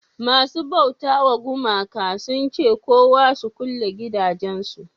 masu bauta wa gumaka sun ce kowa su kulle gidajen su